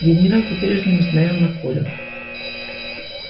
генерал по прежнему смотрел на колю